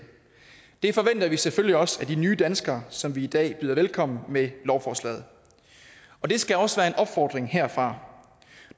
det forventer vi selvfølgelig også af de nye danskere som vi i dag byder velkommen med lovforslaget og det skal også være en opfordring herfra